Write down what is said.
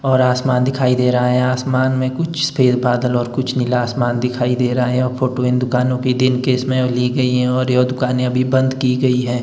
और आसमान दिखाई दे रहा है और आसमान में कुछ सफ़ेद बादल और कुछ नीला आसमान दिखाई दे रहा है। और फोटो इन दुकानों की दिन के इसमें ली गई है और ये दुकानें अभी बंद की गई हैं।